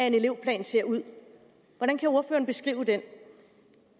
en elevplan ser ud hvordan kan ordføreren beskrive den